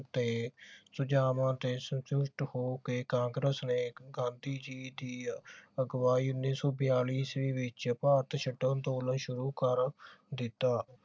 ਤੇ ਸੁਝਾਵਾਂ ਤੇ ਸੰਤੁਸ਼ਟ ਹੋ ਕੇ ਕਾਂਗਰੇਸ ਨੇ ਇਕ ਗਾਂਧੀ ਜੀ ਦੀ ਅਗੁਆਈ ਉੱਨੀ ਸੋ ਬਿਆਲੀ ਈਸਵੀ ਵਿਚ ਭਾਰਤ ਛੱਡੋ ਅੰਦੋਲਨ ਸ਼ੁਰੂ ਕਰ ਦਿੱਤਾ